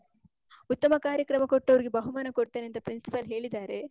ಉತ್ತಮ ಕಾರ್ಯಕ್ರಮ ಕೊಟ್ಟವ್ರಿಗೆ ಬಹುಮಾನ ಕೊಡ್ತೇನಂತ principal ಹೇಳಿದ್ದಾರೆ.